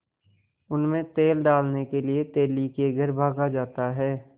उनमें तेल डालने के लिए तेली के घर भागा जाता है